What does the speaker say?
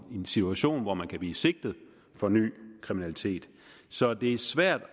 situation hvor man kan blive sigtet for ny kriminalitet så det er svært